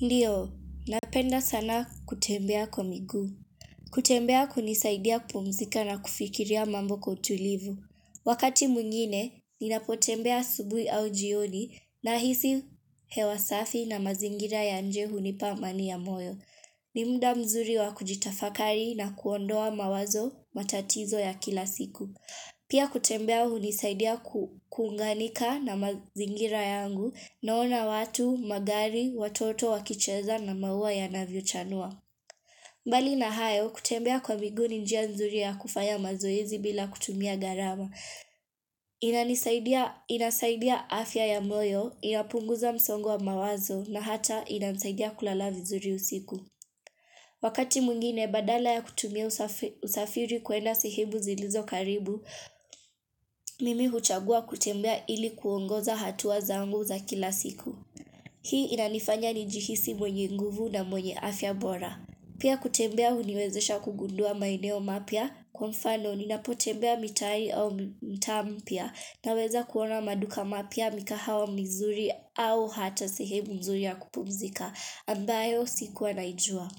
Ndiyo, napenda sana kutembea kwa miguu. Kutembea kunisaidia kupumzika na kufikiria mambo kwa utulivu. Wakati mwingine, ninapotembea asubui au jioni nahisi hewa safi na mazingira ya nje hunipa amani ya moyo. Ni mda mzuri wa kujitafakari na kuondoa mawazo matatizo ya kila siku. Pia kutembea hunisaidia kuunganika na mazingira yangu naona watu, magari, watoto, wakicheza na maua yanavyochanua. Mbali na hayo, kutembea kwa miguu ni njia nzuri ya kufanya mazoezi bila kutumia gharama. Inasaidia afya ya moyo, inapunguza msongo wa mawazo na hata inasaidia kulala vizuri usiku. Wakati mwingine badala ya kutumia usafiri kwenda sehemu zilizo karibu, mimi huchagua kutembea ili kuongoza hatua zangu za kila siku. Hii inanifanya nijihisi mwenye nguvu na mwenye afya bora. Pia kutembea huniwezesha kugundua maeneo mapya, kwa mfano ninapotembea mitai au mtaa mpya naweza kuona maduka mapya mikahawa mizuri au hata sehemu nzuri ya kupumzika, ambayo sikuwa naijua.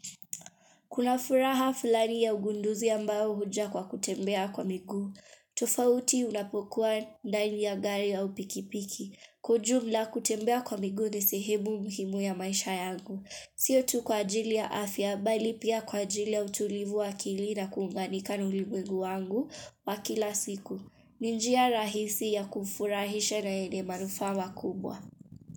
Kuna furaha fulani ya ugunduzi ambayo huja kwa kutembea kwa miguu tofauti unapokua ndani ya gari au pikipiki Kujumla kutembea kwa miguu ni sehemu muhimu ya maisha yangu Sio tu kwa ajili ya afya bali pia kwa ajili ya utulivu wa akili na kuunganika na ulimwengu wangu wa kila siku ni njia rahisi ya kufurahisha na yenye manufaa makubwa.